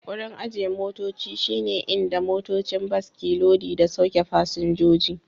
Wurin ajiye motoci shi ne inda motocin bas ke lodi da sauke fasinjoji